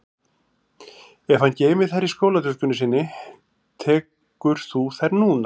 Ef hann geymir þær í skólatöskunni sinni tekur þú þær núna